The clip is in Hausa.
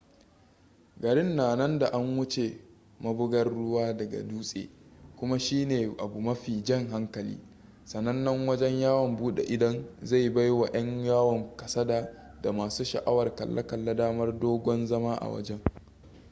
garin na nan da an wuce mabugar ruwa daga dutse kuma shine abu mafi jan hankali sanannen wajen yawon bude idon zai baiwa yan yawon kasada da masu sha'awar kalle-kalle damar dogon zama a wajen